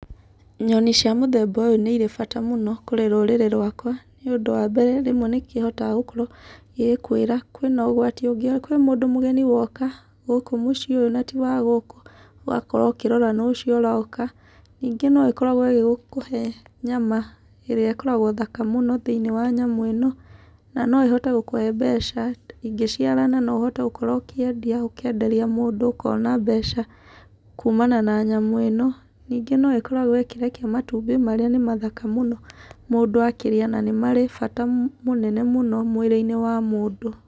Nyoni cia mũthemba ũyũ nĩ irĩ bata mũno kũrĩ rũrĩrĩ rwakwa nĩ ũndũ wa mbere nĩihotaga gũkorwo ĩgĩkwĩra kwĩna ũgwati, kwĩ mũndũ mũgni woka gũkũ ũciĩ ũyũ na ti wa gũkũ, ũgakorwo ũkĩrora nũũ ũcio ũroka. Ningĩ no ĩkoragwo ĩgĩkũhe nyama ĩrĩa ĩkoragwo thaka mũno thĩiniĩ wa nyamũ ĩno na no ĩhote gũkũhe mbeca, ingĩciarana no ũhote gũkorwo ũkĩendia, ũkenderia mũndũ ũkona mbeca kuumana na nyamũ ĩno. Ningĩ no ĩkoragwo ĩkĩrekia matumbĩ marĩa nĩ mathaka mũno mũndũ akĩria na nĩ marĩ bata mũnene mũno mwĩrĩ-inĩ wa mũndũ.